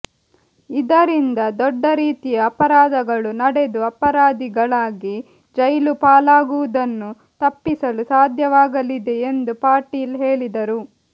ಇದರಿಂದ ದೊಡ್ಡ ರೀತಿಯ ಅಪರಾಧಗಳು ನಡೆದು ಅಪರಾಧಿಗಳಾಗಿ ಜೈಲುಪಾಲಾಗುವುದನ್ನು ತಪ್ಪಿಸಲು ಸಾಧ್ಯವಾಗಲಿದೆ ಎಂದು ಪಾಟೀಲ್ ಹೇಳಿದರು